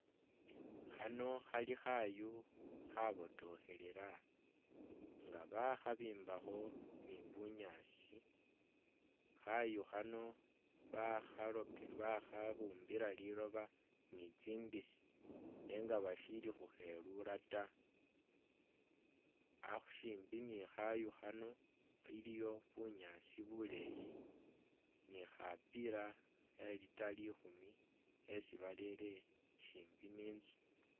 Khano khali khayu khabotokhelela nga bakhabimbakho ni bunyaasi khayu khano bakhaloke bakhabumbila liloba nitsindisi nenga bashili khukhelula ta ah-shimbi ni khayu khano aliwo bunyaasi buleeyi nikhapiila khe litre likhumi esi barele shimbi ninzu